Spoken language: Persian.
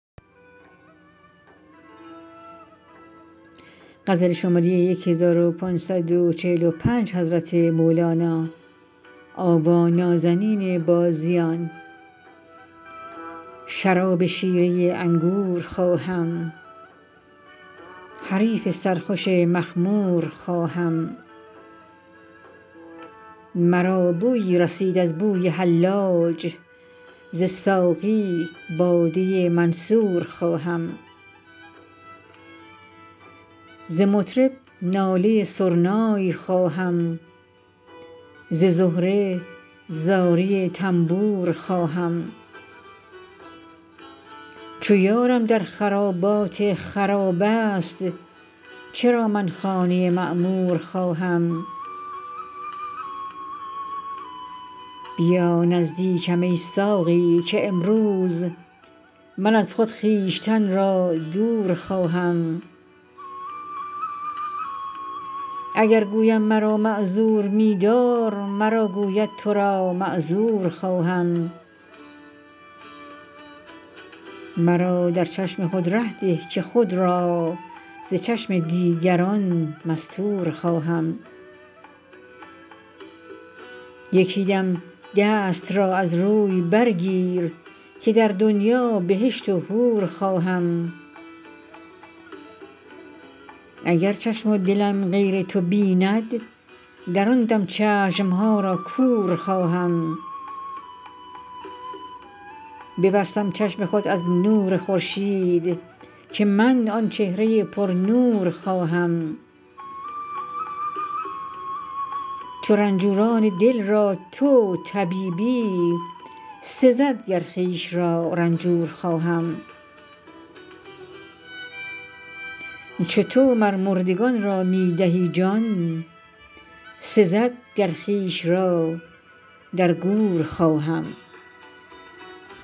شراب شیره انگور خواهم حریف سرخوش مخمور خواهم مرا بویی رسید از بوی حلاج ز ساقی باده منصور خواهم ز مطرب ناله سرنای خواهم ز زهره زاری تنبور خواهم چو یارم در خرابات خراب است چرا من خانه معمور خواهم بیا نزدیکم ای ساقی که امروز من از خود خویشتن را دور خواهم اگر گویم مرا معذور می دار مرا گوید تو را معذور خواهم مرا در چشم خود ره ده که خود را ز چشم دیگران مستور خواهم یکی دم دست را از روی برگیر که در دنیا بهشت و حور خواهم اگر چشم و دلم غیر تو بیند در آن دم چشم ها را کور خواهم ببستم چشم خود از نور خورشید که من آن چهره پرنور خواهم چو رنجوران دل را تو طبیبی سزد گر خویش را رنجور خواهم چو تو مر مردگان را می دهی جان سزد گر خویش را در گور خواهم